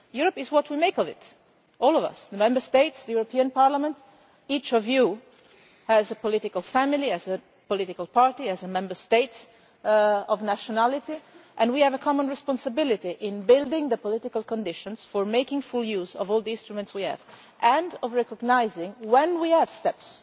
Europe is what we make of it, all of us the Member States, the European Parliament. Each of you has a political family, a political party, a Member State of nationality, and we have a common responsibility to build the political conditions for making full use of all the instruments we have, and to recognise when we are taking